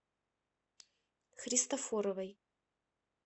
христофоровой